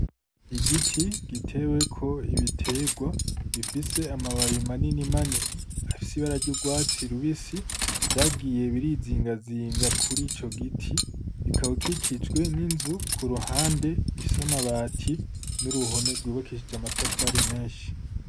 Igiti giteweko ibiterwa bifise amababi manini manini afise ibara ry'urwatsi rubisi, vyagiye birizingazinga kuri ico giti. Kikaba gikikijwe n'inzu kuruhande ifise amabati n'uruhome rw'ubakikije n'amatafari menshi.